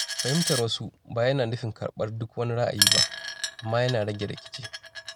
Fahimtar wasu ba yana nufin karɓar duk wani ra’ayi ba, amma yana rage rikici.